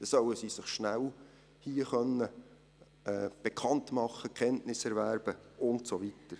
Dann sollen sie sich hier schnell bekannt machen können, Kenntnisse erwerben und so weiter.